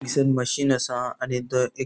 पिसन मशीन असा आणि द एक --